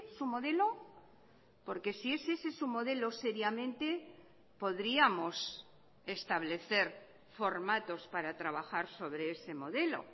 su modelo porque si es ese su modelo seriamente podríamos establecer formatos para trabajar sobre ese modelo